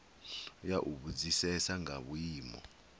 ya u vhudzisesa nga vhuimo